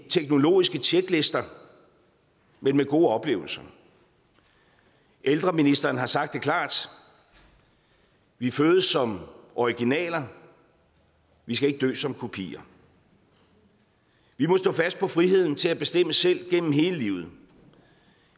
teknologiske tjeklister men med gode oplevelser ældreministeren har sagt det klart vi fødes som originaler vi skal ikke dø som kopier vi må stå fast på friheden til at bestemme selv gennem hele livet